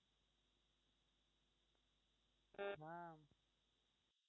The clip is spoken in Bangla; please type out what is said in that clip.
ম